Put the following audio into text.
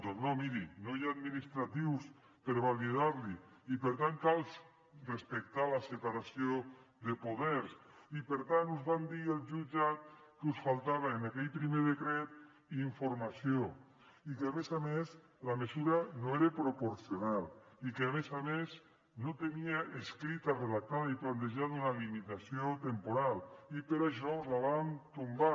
doncs no miri no hi ha administratius per validar l’hi i per tant cal respectar la separació de poders i per tant us van dir al jutjat que us faltava en aquell primer decret informació i que a més a més la mesura no era proporcional i que a més a més no tenia escrita redactada i plantejada una limitació temporal i per això us la vam tombar